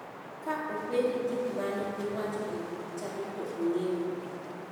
Ka openje gik mane iwacho e buch chadi to ng'eyo duto.